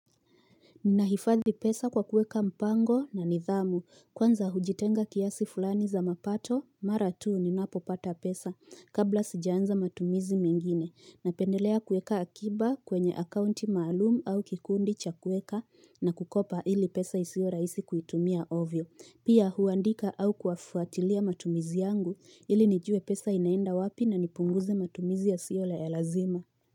Ninahifadhi pesa kwa kueka mpango na nidhamu. Kwanza hujitenga kiasi fulani za mapato mara tu ninapopata pesa kabla sijaanza matumizi mengine. Napendelea kueka akiba kwenye akaunti maalum au kikundi cha kueka. Na kukopa ili pesa isiwe rahisi kuitumia ovyo. Pia huandika au kuafuatilia matumizi yangu ili nijue pesa inaenda wapi na nipunguze matumizi yasio ya lazima.